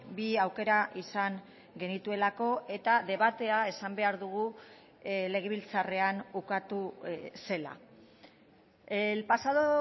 bi aukera izan genituelako eta debatea esan behar dugu legebiltzarrean ukatu zela el pasado